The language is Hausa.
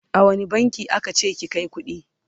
a wani bankin aka ce ki Kai kuɗi?